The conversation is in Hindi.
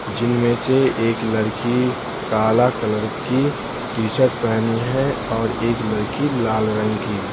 जिनमें से एक लड़की काला कलर की टी-शर्ट पेहनी है और एक लड़की लाल रंग की।